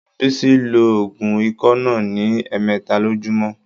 Bísí ló òògùn ikọ́ náà ní ẹ̀mẹẹ́ta lojúmọ́.